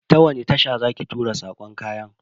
Ta wani tasha za ki tura sakon kayan?